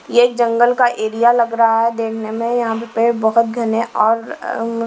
यह एक जंगल का एरिया लग रहा है देखने में यहां पे बहुत घने और--